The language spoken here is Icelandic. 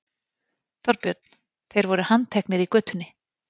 Þorbjörn: Þeir voru handteknir í götunni?